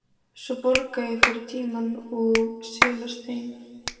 Svo borga ég fyrir tímann og silast heim.